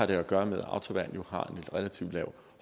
det har at gøre med at autoværn jo har et relativt lav